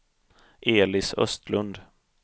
Elis Östlund